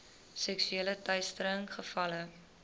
seksuele teistering gevalle